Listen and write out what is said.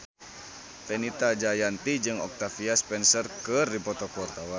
Fenita Jayanti jeung Octavia Spencer keur dipoto ku wartawan